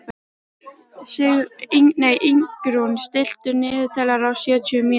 Ingrún, stilltu niðurteljara á sjötíu mínútur.